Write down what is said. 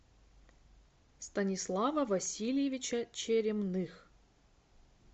станислава васильевича черемных